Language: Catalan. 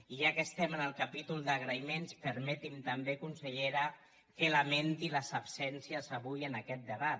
i ja que estem en el capítol d’agraïments permeti’m també consellera que lamenti les absències avui en aquest debat